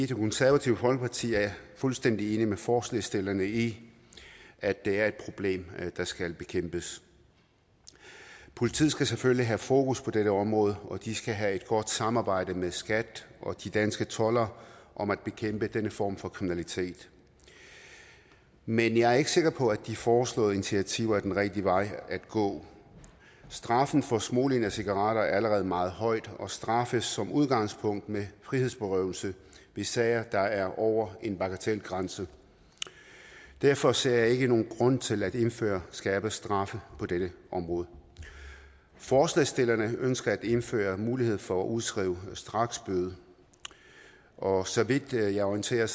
konservative folkeparti er vi fuldstændig enige med forslagsstillerne i at det er et problem der skal bekæmpes politiet skal selvfølgelig have fokus på dette område og de skal have et godt samarbejde med skat og de danske toldere om at bekæmpe denne form for kriminalitet men jeg er ikke sikker på at de foreslåede initiativer er den rigtige vej at gå straffen for smugling af cigaretter er allerede meget høj og straffes som udgangspunkt med frihedsberøvelse i sager der er over en bagatelgrænse derfor ser jeg ikke nogen grund til at indføre skærpede straffe på dette område forslagsstillerne ønsker at indføre en mulighed for at udskrive straksbøder og så vidt jeg er orienteret